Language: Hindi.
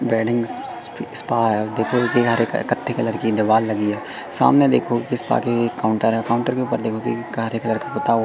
वेडिंग स्स स्स स्पा है देखो किनारे क कत्थे कलर की दीवाल लगी है सामने देखो स्पा के काउंटर है काउंटर के ऊपर देखो कि कलर का पुता हुआ--